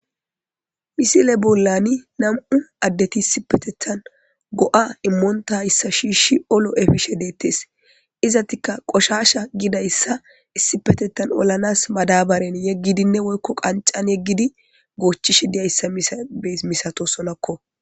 Misile bollani nam7u addeti issi petethan go'a immoonta hayssa shiishi olo efishe deettes izatika qoshasha gidayssa issipetethan olanas madabaren yeggidinne woykko qancan yeggidi goochchish diyayssa es misato solakko.